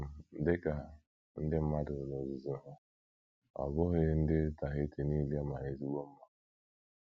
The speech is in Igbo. um Dị ka ndị mmadụ n’ozuzu ha, ọ bụghị ndị Tahiti nile mara ezigbo mma.